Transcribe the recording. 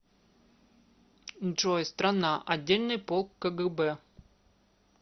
джой страна отдельный полк кгб